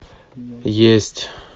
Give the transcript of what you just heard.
есть